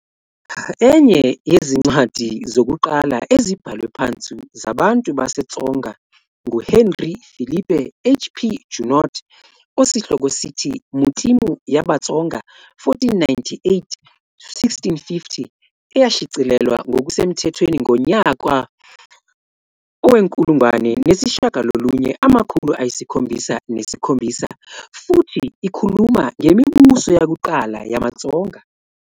Enye yezincwadi zokuqala ezibhalwe phansi zabantu baseTsonga nguHenri Philipe, HP, Junod osihloko "sithi "Matimu ya Vatsonga 1498-1650" eyashicilelwa ngokusemthethweni ngonyaka owe-1977, futhi ikhuluma ngemibuso yakuqala yamaTsonga.